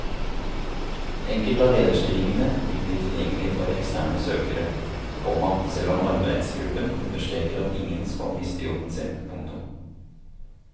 Enkelte av lederstillingene vil bli tilgjengelige for eksterne søkere, komma selv om arbeidsgruppen understreker at ingen skal miste jobben sin. punktum